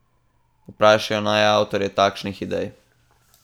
Vprašajo naj avtorje takšnih idej.